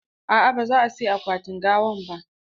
A'a, ba zan saya akwatin gawa ba.